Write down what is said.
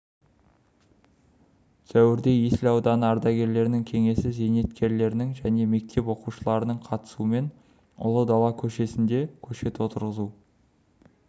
сәуірде есіл ауданы ардагерлер кеңесі зейнеткерлерінің және мектеп оқушыларының қатысуымен ұлы дала көшесінде көшет отырғызу